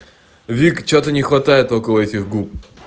вик что-то не хватает около этих губ